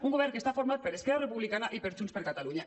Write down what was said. un govern que està format per es·querra republicana i per junts per catalunya